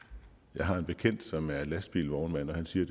jeg har en bekendt som er lastbilvognmand og han siger